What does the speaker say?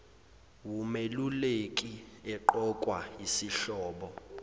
wumeluleki eqokwa yisihlobo